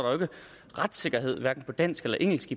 retssikkerhed hverken på dansk eller engelsk